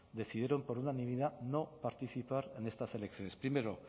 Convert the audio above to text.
decidieron por unanimidad no participar en estas elecciones primero